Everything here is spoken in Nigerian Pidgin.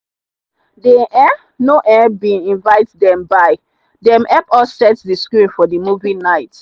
they um no um bin invite them buy them help us set the screen for the movie night.